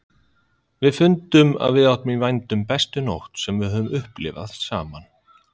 Við fundum að við áttum í vændum bestu nótt sem við höfðum upplifað saman.